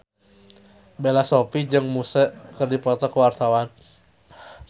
Bella Shofie jeung Muse keur dipoto ku wartawan